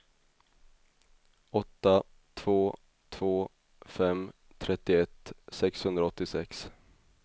åtta två två fem trettioett sexhundraåttiosex